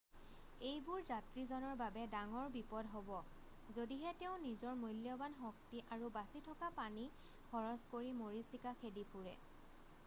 এইবোৰ যাত্ৰীজনৰ বাবে ডাঙৰ বিপদ হ'ব যদিহে তেওঁ নিজৰ মূল্যবান শক্তি আৰু বাচি থকা পানী খৰচ কৰি মৰিচিকা খেদি ফুৰে